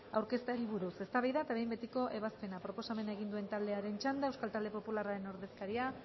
aurkezteari buruz eztabaida eta behin betiko ebazpena proposamena egin duen taldearen txanda euskal talde popularraren ordezkaria